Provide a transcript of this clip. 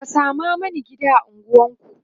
ka Sama Mani gida a unguwanku!